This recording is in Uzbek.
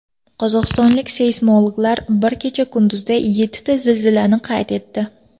Qozog‘istonlik seysmologlar bir kecha-kunduzda yettita zilzilani qayd etdi.